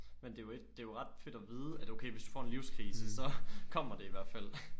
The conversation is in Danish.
Men det er jo ikke det er jo ret fedt at vide at okay hvis du får en livskrise så kommer det i hvert fald